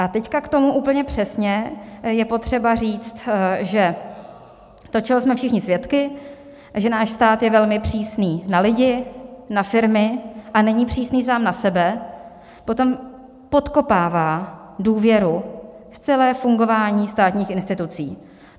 A teď k tomu úplně přesně: je potřeba říct, že to, čeho jsme všichni svědky, že náš stát je velmi přísný na lidi, na firmy, a není přísný sám na sebe, potom podkopává důvěru v celé fungování státních institucí.